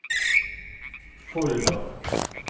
Folldal